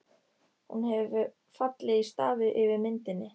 Hún hefur fallið í stafi yfir myndinni.